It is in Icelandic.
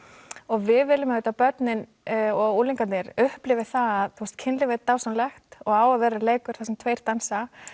við viljum auðvitað að börnin og unglingarnir upplifi það að kynlíf er dásamlegt og á að vera leikur þar sem tveir dansa